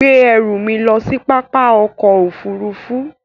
Gbé ẹ̀rù mi lọ sí pápá òkò òfúrùfú